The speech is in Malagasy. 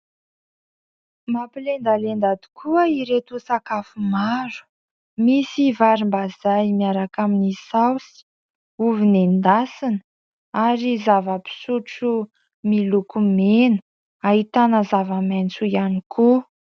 Mampilendalenda tokoa ireto sakafo maro, misy varimbazaha miaraka amin'ny saosy, ovy nendasina ary zava-pisotro miloko mena, ahitana zava-maitso ihany koa.